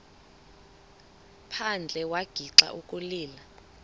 phandle wagixa ukulila